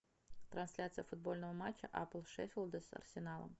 трансляция футбольного матча апл шеффилда с арсеналом